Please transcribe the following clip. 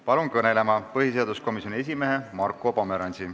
Palun kõnelema põhiseaduskomisjoni esimehe Marko Pomerantsi.